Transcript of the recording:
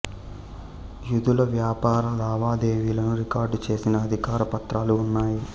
యూదుల వ్యాపార లావాదేవీలను రికార్డు చేసిన అధికారిక పత్రాలు ఉన్నాయి